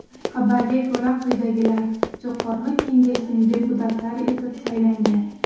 Xabarga ko‘ra, quyidagilar Jo‘qorg‘i Kengesning deputatlari etib saylangan.